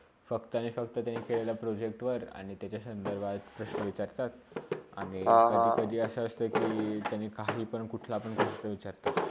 फक्त एक ह्फतावर केलेल्या प्रोजेक्टवर आणि त्याचा सांधरभात प्रशना विचारतात आणि कधी - कधी असा असता कि काहीपाण कुठलापान प्रश्न विचारतात.